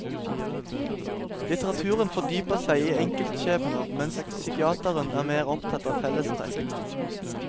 Litteraturen fordyper seg i enkeltskjebner, mens psykiatrien er mer opptatt av fellestrekk.